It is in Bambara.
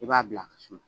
I b'a bila ka suma